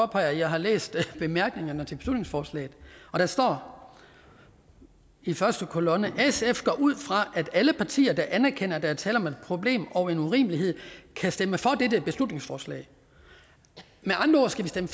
påpeger at jeg har læst bemærkningerne til beslutningsforslaget og der står i første kolonne sf går ud fra at alle partier der anerkender at der tale om et problem og en urimelighed kan stemme for dette beslutningsforslag med andre ord skal vi stemme